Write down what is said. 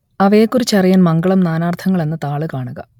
അവയെക്കുറിച്ചറിയാൻ മംഗളം നാനാർത്ഥങ്ങൾ എന്ന താൾ കാണുക